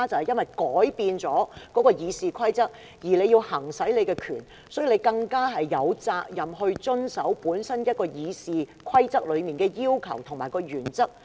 因為現在《議事規則》改變了，而致主席要行使權力，所以主席更有責任遵守《議事規則》的要求和原則。